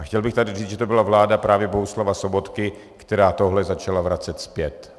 A chtěl bych tady říct, že to byla právě vláda Bohuslava Sobotky, která tohle začala vracet zpět.